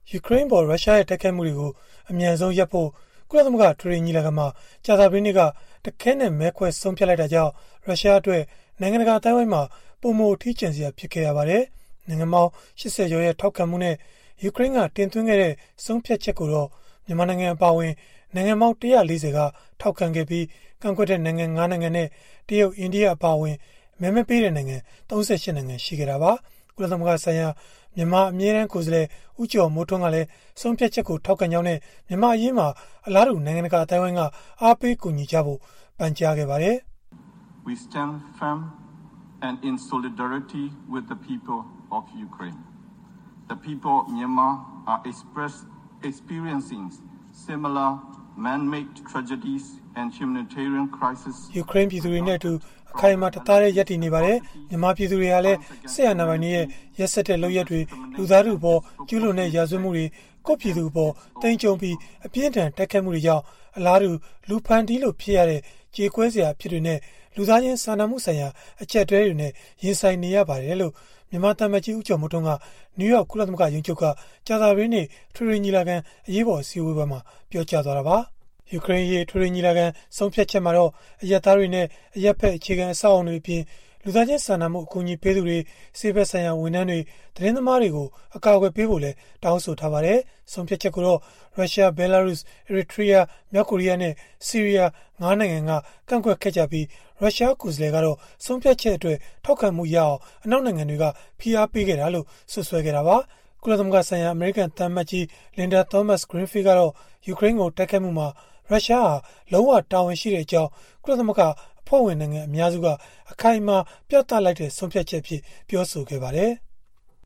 ယူကရိန်းအပေါ် ရုရှားရဲ့ တိုက်ခိုက်မှုတွေကို အမြန်ဆုံးရပ်ဖို့ ကုလသမဂ္ဂ အထွေထွေညီလာခံမှာ ကြာသပတေးနေ့က တခဲနက် မဲခွဲဆုံးဖြတ်လိုက်တာကြောင့် ရုရှားအတွက် နိုင်ငံတကာ အသိုင်းအဝိုင်းမှာ ပိုမိုအထီးကျန်စရာ ဖြစ်ခဲ့ရပါတယ်။ နိုင်ငံပေါင်း ၈၀ ကျော်ရဲ့ ထောက်ခံမှုနဲ့ ယူကရိန်းက တင်သွင်းခဲ့တဲ့ ဆုံးဖြတ်ချက်ကိုတော့ မြန်မာနိုင်ငံ အပါအဝင် နိုင်ငံပေါင်း ၁၄၀ က ထောက်ခံခဲ့ပြီး၊ ကန့်ကွက်တဲ့ နိုင်ငံ ၅ နိုင်ငံနဲ့ တရုတ်၊ အိန္ဒိယ အပါအဝင် မဲမပေးတဲ့နိုင်ငံ ၃၈ နိုင်ငံ ရှိခဲ့တာပါ။ ကုလသမဂ္ဂဆိုင်ရာ မြန်မာအမြဲတမ်း ကိုယ်စားလှယ် ဦးကျော်မိုးထွန်းကလည်း ဆုံးဖြတ်ချက်ကို ထောက်ခံကြောင်းနဲ့ မြန်မာ့အရေးမှာလည်း အလားတူ နိုင်ငံတကာ အသိုင်းအဝိုင်းက အားပေးကူညီဖို့ ပန်ကြားခဲ့ပါတယ်။ “ယူကရိန်း ပြည်သူတွေနဲ့အတူ အခိုင်အမာ၊ တသားတည်း ရပ်တည်နေပါတယ်။ မြန်မာပြည်သူတွေဟာလည်း စစ်အာဏာပိုင်တွေရဲ့ ရက်စက်တဲ့ လုပ်ရပ်တွေ၊ လူသားထုအပေါ် ကျုးလွန်တဲ့ ရာဇဝတ်မှုတွေ၊ ကိုယ့်ပြည်သူအပေါ် သိမ်းကျုံးပြီး အပြင်းအထန် တိုက်ခိုက်မှုတွေကြောင့် အလားတူ လူဖန်တီးလို့ ဖြစ်ရတဲ့ ကြေကွဲစရာ အဖြစ်တွေနဲ့ လူသားချင်း စာနာမှုဆိုင်ရာ အကျပ်အတည်းနဲ့ ရင်ဆိုင်နေရပါတယ်။” လို့ မြန်မာသံအမတ်ကြီး ဦးကျော်မိုးထွန်းက နယူးယောက် ကုလသမဂ္ဂ ရုံးချုပ်က ကြာပသတေးနေ့ အထွေထွေညီလာခံ အရေးပေါ် အစည်းအဝေးမှာ ပြောကြားသွားတာပါ။ ယူကရိန်းအရေး အထွေထွေညီလာခံ ဆုံးဖြတ်ချက်မှာတော့ အရပ်သားတွေနဲ့ အရပ်ဖက် အခြေခံအဆောက်အအုံတွေအပြင်၊ လူသားချင်းစာနာမှု အကူအညီပေးသူတွေ၊ ဆေးဖက်ဆိုင်ရာ ဝန်ထမ်းတွေ၊ သတင်းသမားတွေကို ကာကွယ်ဖို့လည်း တောင်းဆိုထားပါတယ်။ ဆုံးဖြတ်ချက်ကိုတော့ ရုရှား၊ ဘဲလာရုစ်၊ အီရီထရီးယား၊ မြောက်ကိုရီးနဲ့ ဆီးရီးယား ၅ နိုင်ငံက ကန့်ကွက်ခဲ့ကြပြီး ရုရှားကိုယ်စားလှယ်ကတော့ ဆုံးဖြတ်ချက်အတွက် ထောက်ခံမှုရအောင် အနောက်နိုင်ငံတွေက ဖိအားပေးခဲ့ကြောင်း စွပ်စွဲခဲ့တာပါ။ ကုလသမဂ္ဂဆိုင်ရာ အမေရိကန်သံအမတ်ကြီး Linda Thomas-Greenfield ကတော့ ယူကရိန်းကို တိုက်ခိုက်မှုမှာ ရုရှားဟာ လုံးဝတာဝန်ရှိကြောင်း ကုလသမဂ္ဂ အဖွဲ့ဝင်နိုင်ငံ အများစုက အခိုင်အမာ ပြသလိုက်တဲ့ ဆုံးဖြတ်ချက်အဖြစ် ပြောဆိုခဲ့ပါတယ်။